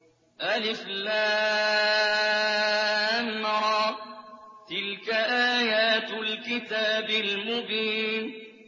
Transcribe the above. الر ۚ تِلْكَ آيَاتُ الْكِتَابِ الْمُبِينِ